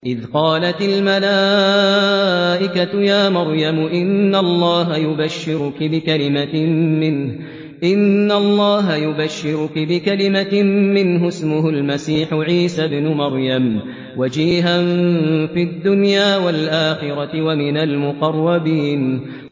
إِذْ قَالَتِ الْمَلَائِكَةُ يَا مَرْيَمُ إِنَّ اللَّهَ يُبَشِّرُكِ بِكَلِمَةٍ مِّنْهُ اسْمُهُ الْمَسِيحُ عِيسَى ابْنُ مَرْيَمَ وَجِيهًا فِي الدُّنْيَا وَالْآخِرَةِ وَمِنَ الْمُقَرَّبِينَ